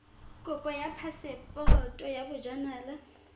kopo ya phaseporoto ya bojanala